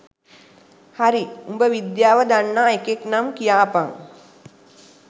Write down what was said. හරි උඹ විද්‍යාව දන්නා එකෙක්නම් කියපන්